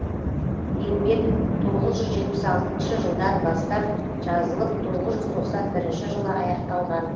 еңбек тоғыз жүз жетпіс алтыншы жылдан бастап жазылып тоғыз жүз тоқсан бірінші жылы аяқталған